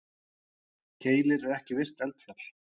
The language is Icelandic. Keilir er ekki virkt eldfjall.